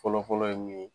Fɔlɔfɔlɔ ye mun ye